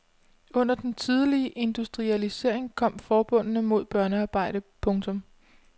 Under den tidlige industrialisering kom forbudene mod børnearbejde. punktum